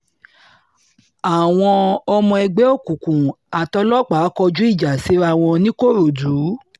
àwọn ọmọ ẹgbẹ́ òkùnkùn àtòlòpàá kọjú ìjà síra wọn nìkòròdú